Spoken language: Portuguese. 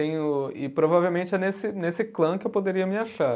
E provavelmente é nesse, nesse clã que eu poderia me achar.